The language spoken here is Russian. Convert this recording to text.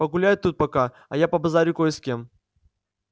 погуляй тут пока а я побазарю кое с кем